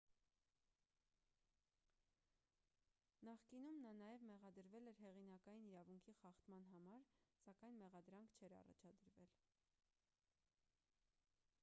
նախկինում նա նաև մեղադրվել էր հեղինակային իրավունքի խախտման համար սակայն մեղադրանք չէր առաջադրվել